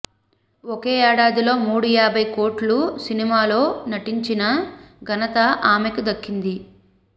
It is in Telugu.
ఒకే ఏడాదిలో మూడు యాభై కోట్ల సినిమాలో నటించిన ఘనత ఆమెకి దక్కుతుంది